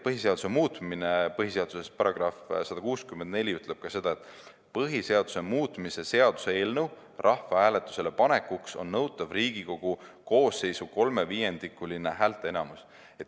Põhiseaduse § 164 ütleb ka seda, et põhiseaduse muutmise seaduse eelnõu rahvahääletusele panekuks on nõutav Riigikogu koosseisu kolmeviiendikuline häälteenamus.